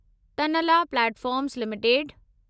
Tanla platforms limited